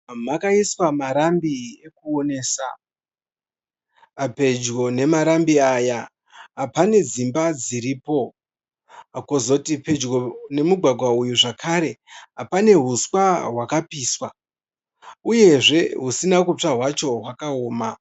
Makaiswa marambi ekuonesa. Pedyo nemarambi aya pane dzimba dziripo. Kwozoti pedyo nemugwagwa uyu zvakare pane uswa hwakapiswa uyezve husina kutsva hwacho hwakaoma.